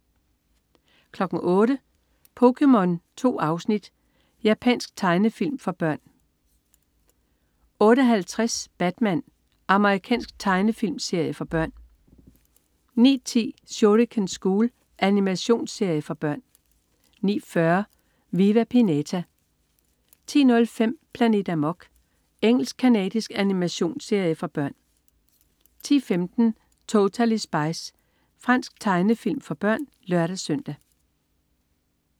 08.00 POKéMON. 2 afsnit. Japansk tegnefilm for børn 08.50 Batman. Amerikansk tegnefilmserie for børn 09.10 Shuriken School. Animationsserie for børn 09.40 Viva Pinata 10.05 Planet Amok. Engelsk-canadisk animationsserie for børn 10.15 Totally Spies. Fransk tegnefilm for børn (lør-søn)